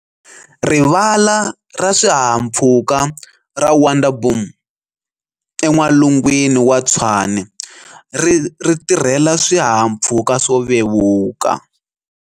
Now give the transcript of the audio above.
Rivala ra Swihahampfhuka ra Wonderboom en'walungwini wa Tshwane ri tirhela swihahampfhuka swo vevuka.